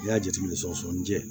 N'i y'a jateminɛ sɔgɔsɔgɔninjɛ